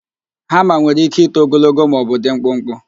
Hama nwere íké ito ogologo maọbụ dị mkpụkpụ.